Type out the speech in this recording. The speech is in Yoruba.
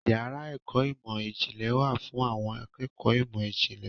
Yàrá ẹ̀kọ́ ìmọ̀ ìjìnlẹ̀ wà fún àwọn akẹ́kọ̀ọ́ ìmọ̀ ìjìnlẹ̀.